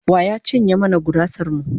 Wa ya cinye mana gurasar mu?